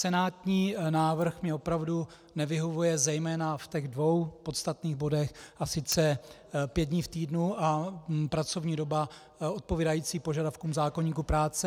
Senátní návrh mně opravdu nevyhovuje zejména v těch dvou podstatných bodech, a sice pět dní v týdnu a pracovní doba odpovídající požadavkům zákoníku práce.